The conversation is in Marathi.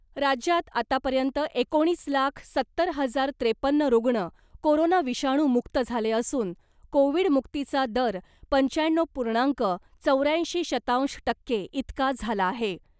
राज्यात आतापर्यंत एकोणीस लाख सत्तर हजार त्रेपन्न रुग्ण , कोरोना विषाणू मुक्त झाले असून , कोविडमुक्तीचा दर पंच्याण्णव पूर्णांक चौऱ्याऐंशी शतांश टक्के इतका झाला आहे .